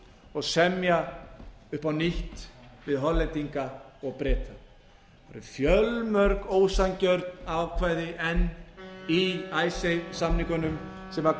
og semja upp á nýtt við hollendinga og breta það eru fjölmörg ósanngjörn ákvæði enn í icesave samningnum sem